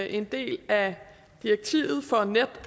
en del af direktivet for net